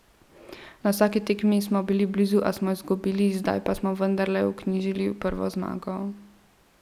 Na vsaki tekmi smo bili blizu, a smo izgubili, zdaj pa smo vendarle vknjižili prvo zmago.